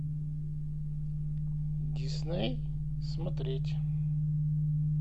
дисней смотреть